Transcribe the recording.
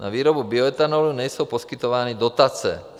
Na výrobu bioetanolu nejsou poskytovány dotace.